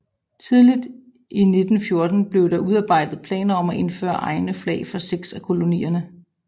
Tidligt i 1914 blev der udarbejdet planer om at indføre egne flag for seks af kolonierne